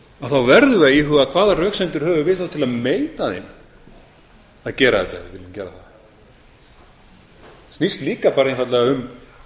þá verðum við að íhuga hvaða röksemdir höfum við þá til að neita þeim að gera þetta ef við viljum gera það þetta snýst líka bara einfaldlega um